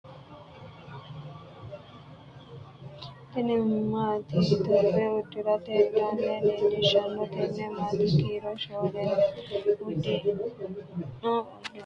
Tinni maate itophiyu udirate danna leelishano tenne maate kiiro shooleho. Udidhino uduunni danna waajoho. Qaaquulu ama angate worqete cuu'icho wodhite no.